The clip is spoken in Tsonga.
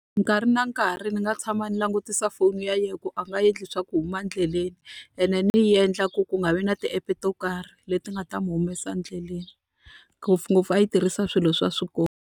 Nkarhi na nkarhi ni nga tshama ni langutisa foni ya yena ku a nga endli swa ku huma endleleni, ene ni yi endla ku ku nga vi na ti-app-e to karhi leti nga ta n'wi humesa endleleni. Ngopfungopfu a yi tirhisa swilo swa swikolo.